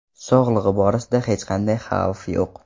Sog‘lig‘i borasida hech qanday xavf yo‘q.